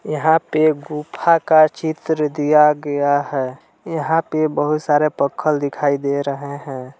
यहां पर गुफा का चित्र दिया गया है यहां पर बहुत सारे पोखल दिखाई दे रहे हैं।